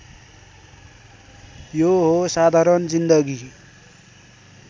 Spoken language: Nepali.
यो हो साधारण जिन्दगी